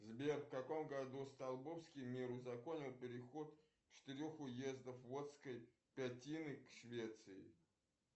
сбер в каком году столбовский мир узаконил переход четырех уездов водской пятины к швеции